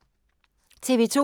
TV 2